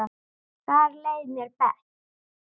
Þar leið mér best.